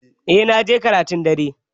Eh na je karatun dare